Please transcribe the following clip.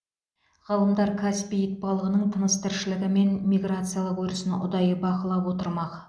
ғалымдар каспий итбалығының тыныс тіршілігі мен миграциялық өрісін ұдайы бақылап отырмақ